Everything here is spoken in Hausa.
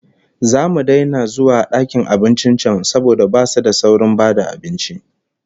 Zamu daina zuwa dakin abincin can saboda basu da saurin ba da abinci